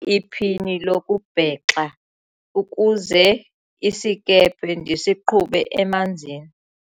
iphini lokubhexa ukuze isikhephe ndisiqhube emanzini